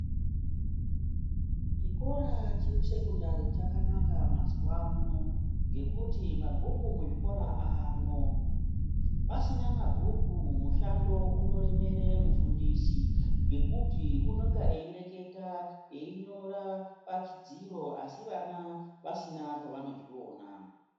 Chikora cheSekondari chakanaka mazuvano ngekuti mabhuku kuzvikora aamwo, pasina mabhuku mushando unoremera mufundisi ngekuti unonga eireketa einyora pachidziro asi vana pasina pavano zviona.